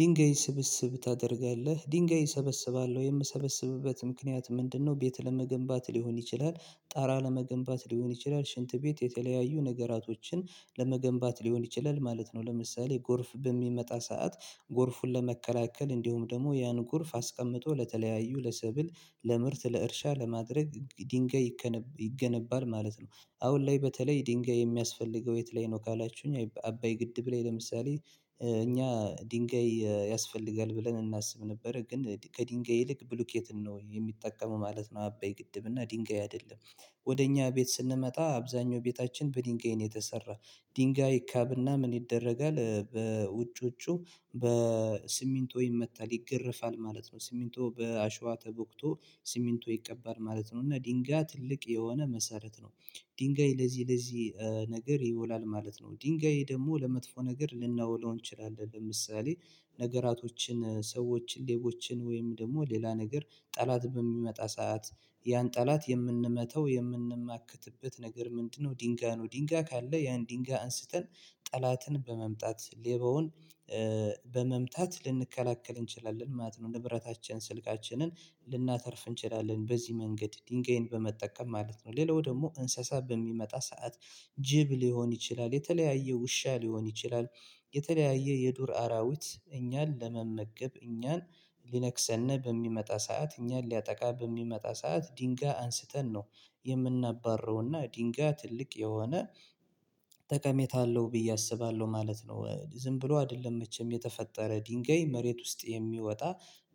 ድንጋይ ስብስብ ታደርጋለህ ድንጋይ እሰበስባለሁ የምሰበስብበትም ምክንያት ምንድነው? ቤት ለመገንባት ሊሆን ይችላል ጣሪያ ለመገንባት ሊሆን ይችላል ሽንት ቤት የተለያዩ ነገራቶችን ለመገንባት ሊሆን ይችላል ማለት ነው። ለምሳሌ ጎርፍ በሚመጣ ሰዓት ጎርፉን ለመከላከል እንዲሁም ደግሞ ያን ጎርፍ አስቀምጦ ለተለያዩ ለስብል ለምርት ለእርሻ ለማድረግ ድንጋይ ይገነባል ማለት ነው። አሁን ላይ በተለይ ድንጋይ የሚያስፈልገው የት ላይ ነው? ካላችሁኝ አባይ ግድብ ላይ ለምሳሌ እኛ ድንጋይ ያስፈልጋል ብለን እናስብ ነበር ግን ከድንጋይ ይልቅ ብሎኬትን ነው የሚጠቀመው ማለት ነው። አባይ ግድብና ድንጋይ አይደለም። ወደ እኛ ቤት ስንመጣ አብዛኛው ቤታችን በድንጋይ ነው የተሰራ። ድንጋይ ይካብና ምን ይደረጋል ውጪ ውጪው በሲሚንቶ ይመታል ይገርፋል ማለት ነው። ሲሚንቶ በአሸዋ ተቦክቶ ስሚንቶ ይቀባል ማለት ነው። እና ድንጋይ ትልቅ የሆነ መሰረት ነው ድንጋይ ለዚህ ለዚህ ነገር ይውላል ማለት ነው። ድንጋይ ደግሞ ለመጥፎ ነገር ልናውለው እንችላለን ለምሳሌ ነገራቶችን ሰዎች ሌቦችን ወይም ደግሞ ሌላ ነገር ጠላት በሚመጣ ሰዓት ያን ጠላት የምንመታው የምንማክትበት ነገር ምንድነው? ድንጋይ ነው ድንጋይ ካለ ያን ድንጋይ አንስተን ጠላትን በመምጣት ሌባውን በመምጣት ልንከላከል እንችላለን ማለት ነው። ንብረታችን ስልካችንን ልናተርፍ እንችላለን በዚህ መንገድ ድንጋይን በመጠቀም ማለት ነው። ሌላው ደግሞ እንስሳ በሚመጣ ሰዓት ጅብ ሊሆን ይችላል የተለያየ ውሻ ሊሆን ይችላል። የተለያየ የዱር አራዊት እኛን ለመመገብ እኛን ሊነክሰን በሚመጣ ሰዓት እኛን ሊያጠቃ በሚመጣ ሰዓት ድንጋይ አንስተን ነው የምናባረውና ድንጋይ ትልቅ የሆነ ጠቀሜታ አለሁ ብዬ አስባለሁ ማለት ነው። ዝም ብሎ አይደለም መቼም የተፈጠረ ድንጋይ መሬት ውስጥ የሚወጣ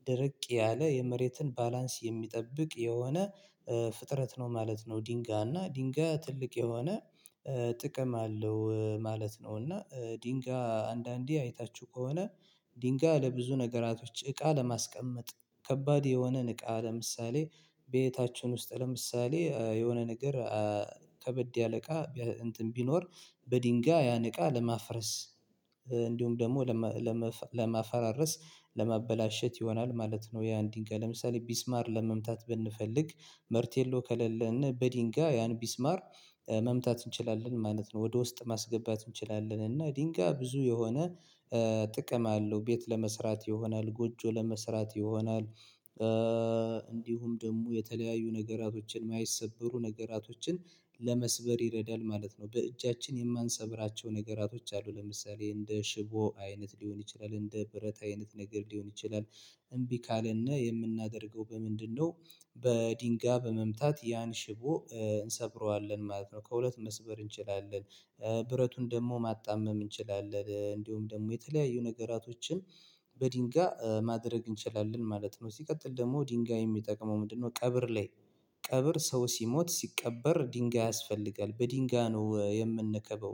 ደርቅ ያለ የመሬትን ባላንስ የሚጠብቅ የሆነ ፍጥረት ነው ማለት ነው። ድንጋይ እና ድንጋይ ትልቅ የሆነ ጥቅም አለው ማለት ነው። እና ድንጋይ አንዳንዴ አይታችሁ ከሆነ ድንጋይ ለብዙ ነገራቶች እቃ ለማስቀመጥ ከባድ የሆነን እቃ ለምሳሌ ቤታችን ውስጥ ለምሳሌ የሆነ ነገር ከበድ ያለ እቃ እንትን ቢኖር በድንጋይ ያን እቃ ለማፍረስ እንዲሁም ደግሞ ለማፈራረስ ለማበላሸት ይሆናል ማለት ነው። ያን ድንጋይ ለምሳሌ ሚስማር ለመምታት ብንፈልግ መርቴሎ ከሌለን በድንጋይ ያን ሚስማር መምታት እንችላለን ማለት ነው። ወደ ውስጥ ማስገባት እንችላለን እና ድንጋይ ብዙ የሆነ ጥቅም አለው። ቤት ለመስራት ይሆናል ጎጆ ለመስራት ይሆናል። እንዲሁም ደግሞ የተለያዩ ነገራቶችን የማይሰበሩ ነገሮችን ለመስበር ይረዳል ማለት ነው። በእጃችን የማንሰብራቸው ነገሮች አሉ ለምሳሌ እንደ ሽቦ አይነት ሊሆን ይችላል እንደ ብረት አይነት ነገር ሊሆን ይችላል። እምቢ ካለን የምናደርገው በምንድነው? በድንጋይ በመምታት ያን ሽቦ እንሰብረዋለን ማለት ነው ከሁለት መስበር እንችላለን። ብረቱን ደግሞ ማጣመም እንችላለን እንዲሁም ደግሞ የተለያዩ ነገራቶችን በድንጋይ ማድረግ እንችላለን ማለት ነው። ሲቀጥል ደግሞ ድንጋይ የሚጠቅመው ምንድነው? ቀብር ላይ ቀብር ሰው ሲሞት ሲቀበር ድንጋይ ያስፈልጋል በድንጋይ ነው የምንከበው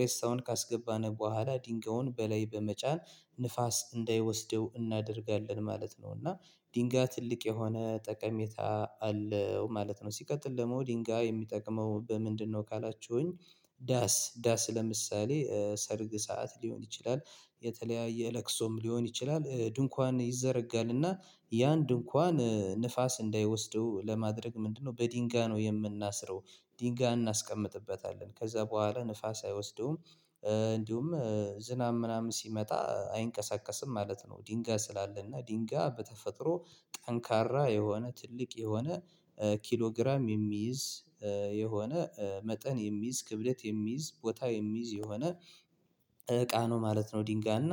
ሬሳውን ካስገባን በኋላ ድንጋዩን በላይ በመጫን ንፋስ እንዳይወስደው እናደርጋለን ማለት ነው። እና ድንጋይ ትልቅ የሆነ ጠቀሜታ አለው ማለት ነው። ሲቀጥል ደግሞ ድንጋይ የሚጠቅመው በምንድነው? ካላችሁኝ ዳስ ዳስ ለምሳሌ ሰርግ ሰዓት ሊሆን ይችላል የተለያየ ለቅሶም ሊሆን ይችላል ድንኳን ይዘረጋልና ያን ድንኳን ንፋስ እንዳይወስደው ለማድረግ ምንድነው በድንጋይ ነው የምናስረው ድንጋይ እናስቀምጥበታለን ከዛ በኋላ ንፋስ አይወስደውም። እንዲሁም ዝናብ ምናምን ሲመጣ አይንቀሳቀስም ማለት ነው። ድንጋይ ስላለ እና ድንጋይ በተፈጥሮ ጠንካራ የሆነ ትልቅ የሆነ ኪሎ ግራም የሚይዝ የሆነ መጠን የሚይዝ ክብደት የሚይዝ ቦታ የሚይዝ የሆነ እቃ ነው ማለት ነው። ድንጋይና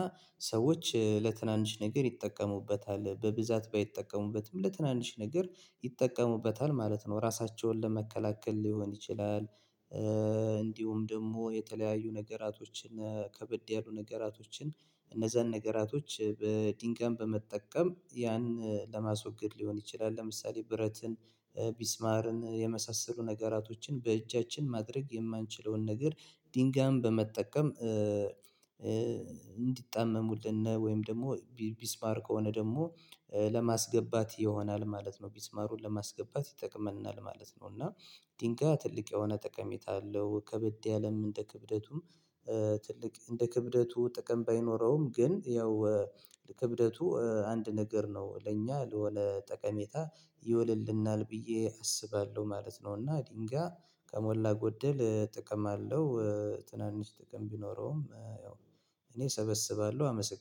ሰዎች ለትናንሽ ነገር ይጠቀሙበታል በብዛት ባይጠቀሙበትም ለትናንሽ ነገር ይጠቀሙበታል ማለት ነው። ራሳቸውን ለመከላከል ሊሆን ይችላል እንዲሁም ደግሞ የተለያዩ ነገራቶችን ከበድ ያሉ ነገራቶችን እነዛን ነገራቶች በ ድንጋይ በመጠቀም ያን ለማስወገድ ሊሆን ይችላል። ለምሳሌ ብረትን ሚስማርን የመሳሰሉ ነገራቶችን በእጃችን ማድረግ የማንችለውን ነገር ድንጋይን በመጠቀም እንዲጣመሙልን ወይም ደግሞ ሚስማር ከሆነ ደግሞ ለማስገባት ይሆናል ማለት ነው። ሚስማሩን ለማስገባት ይጠቅመናል ነው እና ድንጋይ ትልቅ የሆነ ጠቀሜታ አለው ከበድ ያለ እንደ ክብደቱም ትልቅ እንደ ክብደቱ ጥቅም ባይኖረውም ግን ያው ክብደቱ አንድ ነገር ነው ለእኛ ለሆነ ጠቀሜታ ይውልልናል ብዬ አስባለሁ ማለት ነው። እና ድንጋይ ከሞላ ጎደል ጥቅም አለው። ትናንሽ ጥቅም ቢኖረውም ያው እኔ እሰበስባለሁ አመስግን